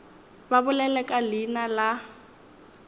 ba bolele ka leina la